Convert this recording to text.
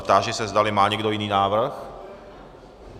Táži se, zdali má někdo jiný návrh?